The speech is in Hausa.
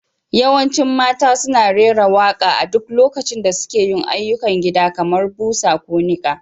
Yawancin mata suna rera waƙa a duk lokacin da suke yin ayyukan gida kamar busa ko niƙa.